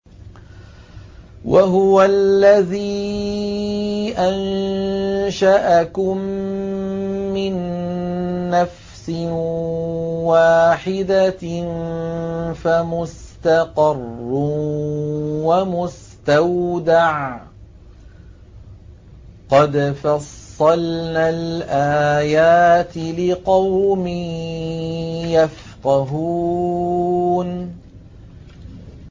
وَهُوَ الَّذِي أَنشَأَكُم مِّن نَّفْسٍ وَاحِدَةٍ فَمُسْتَقَرٌّ وَمُسْتَوْدَعٌ ۗ قَدْ فَصَّلْنَا الْآيَاتِ لِقَوْمٍ يَفْقَهُونَ